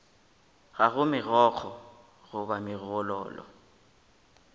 ga go megokgo goba megololo